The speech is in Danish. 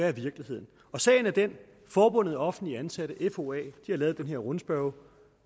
er virkelighed sagen er den at forbundet af offentligt ansatte foa har lavet den her rundspørge